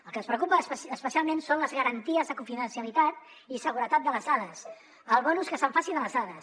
el que ens preocupa especialment són les garanties de confidencialitat i seguretat de les dades el bon ús que se’n faci de les dades